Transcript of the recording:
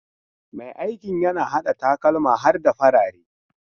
Mai aikin yana hada takalma har da farare.